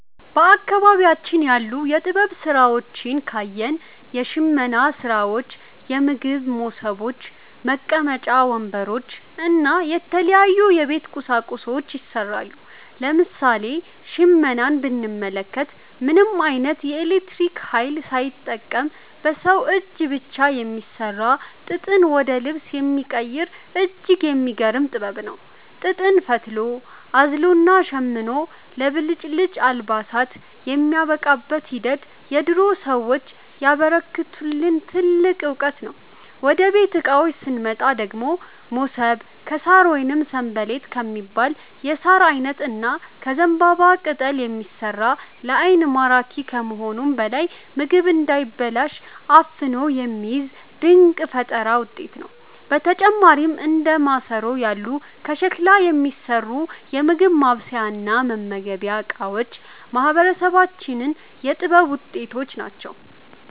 በአካባቢያችን ያሉ የጥበብ ሥራዎችን ካየን፣ የሽመና ሥራዎች፣ የምግብ መሶቦች፣ መቀመጫ ወንበሮች እና የተለያዩ የቤት ቁሳቁሶች ይሠራሉ። ለምሳሌ ሽመናን ብንመለከት፣ ምንም ዓይነት የኤሌክትሪክ ኃይል ሳይጠቀም በሰው እጅ ብቻ የሚሠራ፣ ጥጥን ወደ ልብስ የሚቀይር እጅግ የሚገርም ጥበብ ነው። ጥጥን ፈትሎ፣ አዝሎና ሸምኖ ለብልጭልጭ አልባሳት የሚያበቃበት ሂደት የድሮ ሰዎች ያበረከቱልን ትልቅ ዕውቀት ነው። ወደ ቤት ዕቃዎች ስንመጣ ደግሞ፣ መሶብ ከሣር ወይም 'ሰንበሌጥ' ከሚባል የሣር ዓይነት እና ከዘንባባ ቅጠል የሚሠራ፣ ለዓይን ማራኪ ከመሆኑም በላይ ምግብ እንዳይበላሽ አፍኖ የሚይዝ ድንቅ የፈጠራ ውጤት ነው። በተጨማሪም እንደ ማሰሮ ያሉ ከሸክላ የሚሠሩ የምግብ ማብሰያና መመገቢያ ዕቃዎችም የማህበረሰባችን የጥበብ ውጤቶች ናቸው።